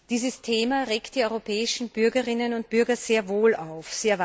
Dieses Thema regt die europäischen Bürgerinnen und Bürger sehr wohl auf.